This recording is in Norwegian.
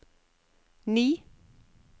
ni